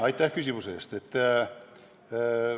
Aitäh küsimuse eest!